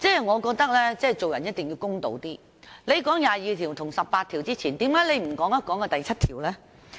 我覺得做人一定要公道一點，他們提及這兩項條文之前，為何不談談第七條？